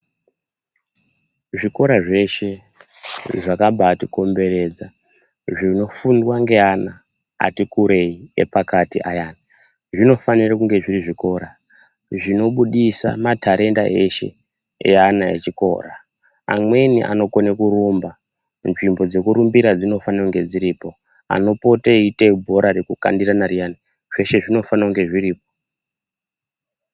Zvikora zveshe zvakambai tikomberedza zvinofundwa ngeana ati kurei epakati ayani zvinofanirwa kunge zviri zvikora zvinobudisa matharenda eshe eana vechikora amweni anokona kurumba, nzvimbo dzekurumbira dzinofania kunge dziripo, anopota eiita bhora rekukandirana riyani zveshe zvinofaniya kunge zviripo